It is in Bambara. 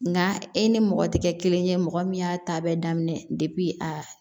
Nka e ni mɔgɔ tɛ kɛ kelen ye mɔgɔ min y'a ta bɛɛ daminɛ a